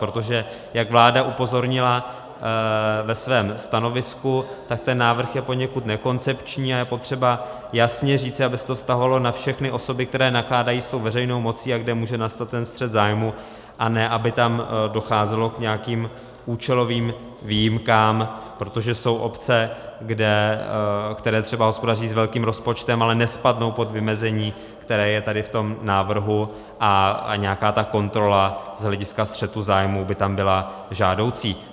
Protože jak vláda upozornila ve svém stanovisku, tak ten návrh je poněkud nekoncepční a je potřeba jasně říci, aby se to vztahovalo na všechny osoby, které nakládají s tou veřejnou mocí a kdy může nastat ten střet zájmů, a ne aby tam docházelo k nějakým účelovým výjimkám, protože jsou obce, které třeba hospodaří s velkým rozpočtem, ale nespadnou pod vymezení, které je tady v tom návrhu, a nějaká ta kontrola z hlediska střetu zájmů by tam byla žádoucí.